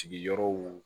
Sigiyɔrɔ